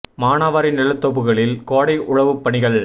மானாவாரி நிலத்தொகுப்புகளில் கோடை உழவுப் பணிகள்